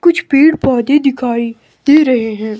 कुछ पेड़ पौधे दिखाई दे रहे हैं।